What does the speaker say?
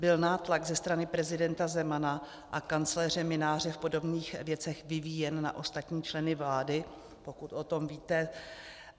Byl nátlak ze strany prezidenta Zemana a kancléře Mynáře v podobných věcech vyvíjen na ostatní členy vlády, pokud o tom víte?